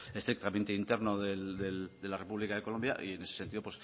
estrictamente interno de la república de colombia y en ese sentido